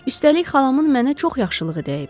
Üstəlik, xalamın mənə çox yaxşılığı dəyib.